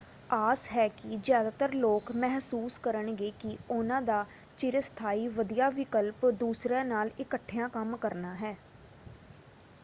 ਆਸ ਹੈ ਕਿ ਜ਼ਿਆਦਾਤਰ ਲੋਕ ਮਹਿਸੂਸ ਕਰਨਗੇ ਕਿ ਉਹਨਾਂ ਦਾ ਚਿਰਸਥਾਈ ਵਧੀਆ ਵਿਕਲਪ ਦੂਸਰਿਆਂ ਨਾਲ ਇਕੱਠਿਆਂ ਕੰਮ ਕਰਨਾ ਹੈ।